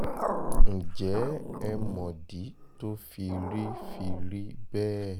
ǹjẹ́ ẹ mọ̀dí tó fi rí fi rí bẹ́ẹ̀